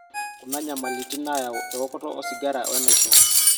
kuna inyamalitin naayau eokoto osigara wenaisho